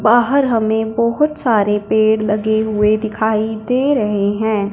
बाहर हमें बहुत सारे पेड़ लगे हुए दिखाई दे रहे हैं।